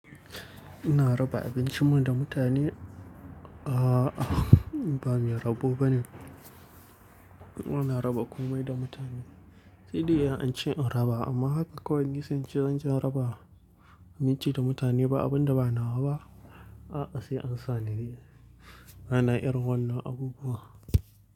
Ina raba abincin mu da mutane, a ba mai rabo bane. Ina raba komai da mutane. Shidi an ce in raba amma haka ko gidan ci zanje raba, naci da mutane ba abun da ba nawa ba. Haka sai an sa ni, bana irin wannan iabubuwa.